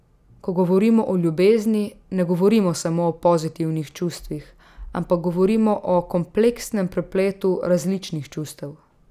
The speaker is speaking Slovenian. Ko govorimo o ljubezni, ne govorimo samo o pozitivnih čustvih, ampak govorimo o kompleksnem prepletu različnih čustev.